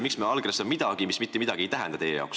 Miks me allkirjastame midagi, mis meie jaoks mitte midagi ei tähenda?